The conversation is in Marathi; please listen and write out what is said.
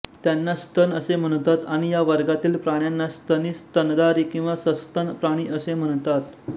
त्यांना स्तन असे म्हणतात आणि या वर्गातील प्राण्यांना स्तनी स्तनधारी किंवा सस्तन प्राणी असे म्हणतात